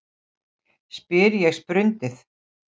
spyr ég sprundið.